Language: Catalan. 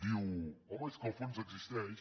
diu home és que el fons existeix